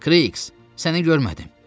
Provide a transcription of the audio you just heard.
Kriks, səni görmədim.